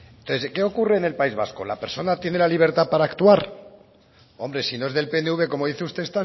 entonces qué ocurre en el país vasco la persona tendrá libertad para actuar hombre si no es del pnv como dice usted